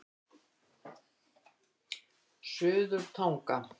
Suðurtanga